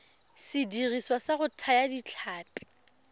sediriswa sa go thaya ditlhapi